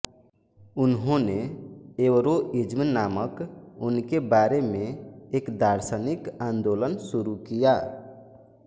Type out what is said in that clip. उन्होंने एवरोइज्म नामक उनके बारे में एक दार्शनिक आंदोलन शुरू किया